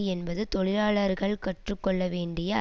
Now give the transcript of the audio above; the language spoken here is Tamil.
என்பது தொழிலாளர்கள் கற்று கொள்ள வேண்டிய